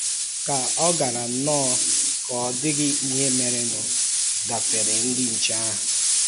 Ká ọ̀ gaárá nnọọ ka ọ dịghị ihe mèrènụ gafere ndị nche ahụ?